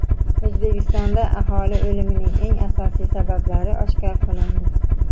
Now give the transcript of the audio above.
O‘zbekistonda aholi o‘limining eng asosiy sabablari oshkor qilindi.